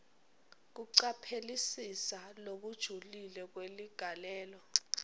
kucaphelisisa lokujulile kweligalelo